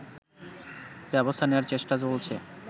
ব্যবস্থা নেয়ার চেষ্টা চলছে